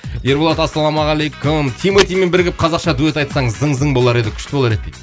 ерболат ассалаумағалейкум тиматимен бірігіп қазақша дуэт айтсаң зың зың болар еді күшті болар еді дейді